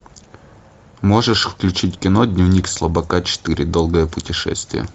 можешь включить кино дневник слабака четыре долгое путешествие